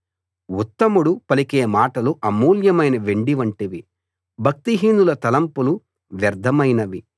ఉత్తముడు పలికే మాటలు అమూల్యమైన వెండి వంటివి భక్తిహీనుల తలంపులు వ్యర్ధమైనవి